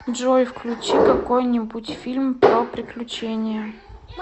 джой включи какой нибудь фильм про приключения